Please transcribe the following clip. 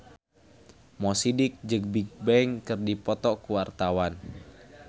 Mo Sidik jeung Bigbang keur dipoto ku wartawan